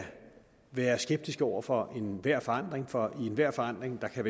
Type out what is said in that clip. være skeptisk over for enhver forandring for i enhver forandring kan